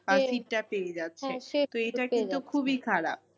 আহ sit টা পেয়ে যাচ্ছে কিন্তু খুবই খারাপ।